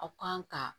Aw kan ka